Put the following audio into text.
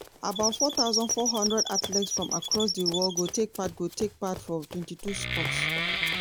about four thousand four hundred athletes from across di world go take part go take part for twenty two sports.